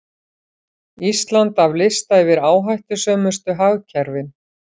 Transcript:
Ísland af lista yfir áhættusömustu hagkerfin